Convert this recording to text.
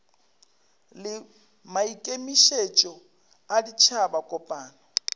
le maikemišetšo a ditšhaba kopano